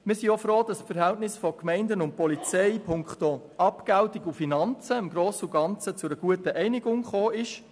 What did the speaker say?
Wir sind auch froh, dass es beim Verhältnis zwischen Gemeinden und Polizei punkto Abgeltung und Finanzen im Grossen und Ganzen zu einer guten Einigung gekommen ist.